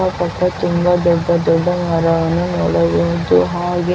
ಅಕ್ಕಪಕ್ಕ ತುಂಬಾ ದೊಡ್ಡ ದೊಡ್ಡ ಮರವನ್ನು ನೋಡಬಹುದು ಹಾಗೆ .